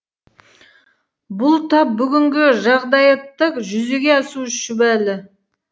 бұл тап бүгінгі жағдаятта жүзеге асуы шүбәлі